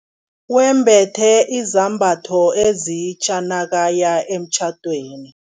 Wembethe izambatho ezitja nakaya emtjhadweni.